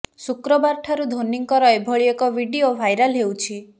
ଶୁକ୍ରବାର ଠାରୁ ଧୋନିଙ୍କର ଏଭଳି ଏକ ଭିଡିଓ ଭାଇରାଲ୍ ହେଉଛି